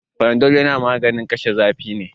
Panadol maganin kashe zafi ne.